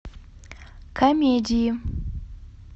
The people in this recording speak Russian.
комедии